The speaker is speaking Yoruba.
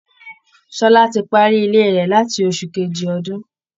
Ṣọlá ti parí Ilé rẹ̀ láti oṣù kejì ọdún